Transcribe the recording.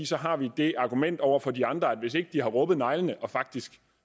så har vi det argument over for de andre at hvis ikke de har rubbet neglene og faktisk